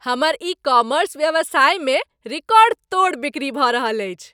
हमर e commerce व्यवसायमे record तोड़ बिक्री भऽ रहल अछि।